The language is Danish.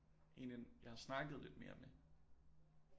En ind jeg har snakket lidt mere med